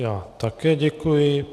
Já také děkuji.